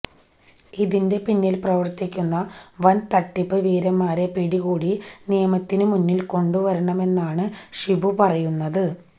ഇതിന്റെ പിന്നിൽ പ്രവർത്തിക്കുന്ന വൻ തട്ടിപ്പ് വീരന്മാരെ പിടികൂടി നിയമത്തിനു മുന്നിൽ കൊണ്ടു വരണമെന്നാണ് ഷിബു പറയുന്നത്